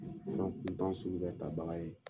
sugu bɛ ta baga ye